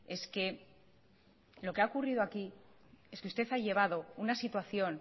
es que lo que ha ocurrido aquí es que usted ha llevado una situación